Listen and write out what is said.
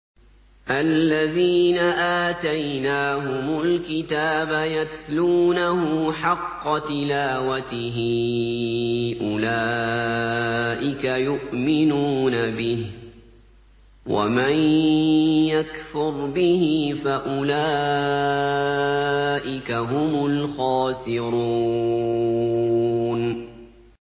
الَّذِينَ آتَيْنَاهُمُ الْكِتَابَ يَتْلُونَهُ حَقَّ تِلَاوَتِهِ أُولَٰئِكَ يُؤْمِنُونَ بِهِ ۗ وَمَن يَكْفُرْ بِهِ فَأُولَٰئِكَ هُمُ الْخَاسِرُونَ